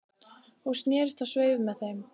Hún snerist á sveif með þeim